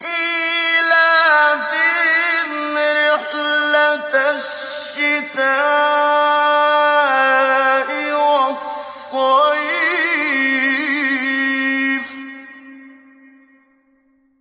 إِيلَافِهِمْ رِحْلَةَ الشِّتَاءِ وَالصَّيْفِ